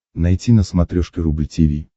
найти на смотрешке рубль ти ви